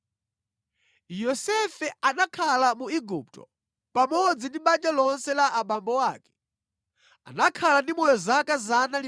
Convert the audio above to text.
Yosefe anakhala mu Igupto pamodzi ndi banja lonse la abambo ake. Anakhala ndi moyo zaka 110